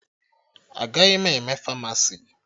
Agaghị m eme Famasi